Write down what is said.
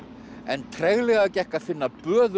en treglega gekk að finna